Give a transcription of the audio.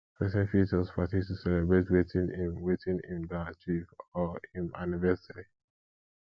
persin fit host party to celebrate wetin im wetin im don achieve or im anniversary